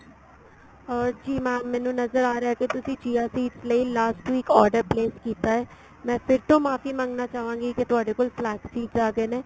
ਜੀ mam ਮੈਨੂੰ ਨਜਰ ਆ ਰਿਹਾ ਕੀ ਤੁਸੀਂ chia seeds ਲਈ last week order place ਕੀਤਾ ਏ ਮੈਂ ਫੇਰ ਤੋਂ ਮਾਫ਼ੀ ਮੰਗਣਾ ਚਾਹਵਾਗੀ ਕੀ ਤੁਹਾਡੇ ਕੋਲ flex seeds ਆ ਗਏ ਨੇ